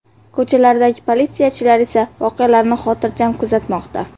Ko‘chalardagi politsiyachilar esa voqealarni xotirjam kuzatmoqda.